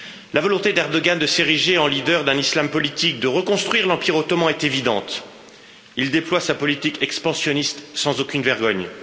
La volonté d'Erdoğan de s'ériger en leader d'un Islam politique, de reconstruire l'empire ottoman, est évidente. Il déploie sa politique expansionniste sans aucune vergogne.